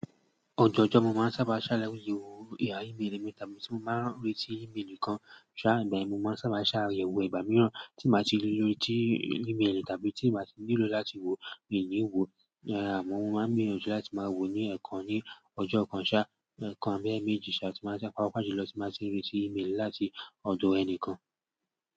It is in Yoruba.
Ọjọ́ ọjọ́ mo máa ń sábà ṣàyẹ̀wò e-mail mi tàbí tí mo bá ń rí tí email nìkan ṣá, ìgbà mìíràn mo máa ń sábà ṣàyẹ̀wò ìgbà mìíràn tí màá ti rí lóri tí email tàbí tí màá ti nílò láti wo míì ní wò. Àmọ́ mo máa ń gbìyànjú áti máa wo ní ẹ̀ẹ̀kan ní ọjọ́ kan ṣá, ẹ̀ẹ̀kan abí ẹméjì ṣá, tí mo bá ti ń retí email láti ọ̀dọ̀ ẹnìkan.